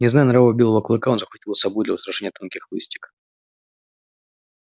не зная нрава белого клыка он захватил с собой для устрашения тонкий хлыстик